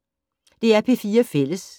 DR P4 Fælles